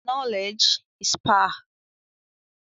Knowledge is power.